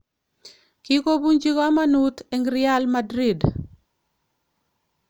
"Kigobunchi komonut en Real Madrid"